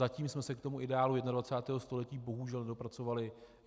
Zatím jsme se k tomu ideálu 21. století bohužel nedopracovali.